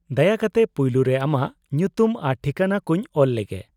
-ᱫᱟᱭᱟ ᱠᱟᱛᱮ ᱯᱩᱭᱞᱩ ᱨᱮ ᱟᱢᱟᱜ ᱧᱩᱛᱩᱢ ᱟᱨ ᱴᱷᱤᱠᱟᱹᱱᱟ ᱠᱚᱧ ᱚᱞ ᱞᱮᱜᱮ ᱾